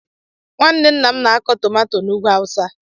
Nwanne ńnà m na-akọ tomato na ùgwù awụsa.